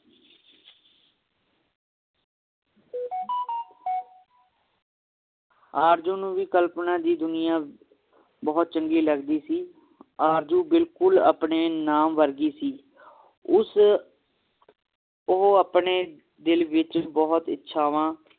ਆਰਜ਼ੂ ਨੂੰ ਵੀ ਕਲਪਨਾ ਦੀ ਦੁਨੀਆਂ ਬਹੁਤ ਚੰਗੀ ਲੱਗਦੀ ਸੀ ਆਰਜ਼ੂ ਬਿਲਕੁਲ ਆਪਣੇ ਨਾਮ ਵਰਗੀ ਸੀ ਉਸ ਉਹ ਆਪਣੇ ਦਿਲ ਵਿਚ ਬਹੁਤ ਇਛਚਾਵਾਂ